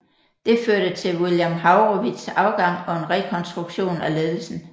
Det førte til William Haurowitz afgang og en rekronstruktion af ledelsen